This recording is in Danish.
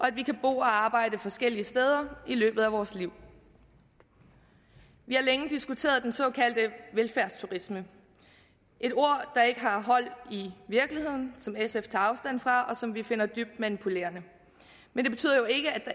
at vi kan bo og arbejde forskellige steder i løbet af vores liv vi har længe diskuteret den såkaldte velfærdsturisme et ord der ikke har hold i virkeligheden som sf tager afstand fra og som vi finder er dybt manipulerende men det betyder jo ikke